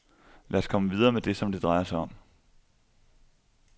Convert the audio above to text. Lad os komme videre med det, som det drejer sig om.